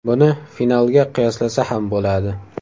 Buni finalga qiyoslasa ham bo‘ladi.